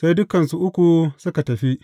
Sai dukansu uku suka tafi.